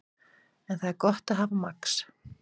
En það er gott að hafa Max.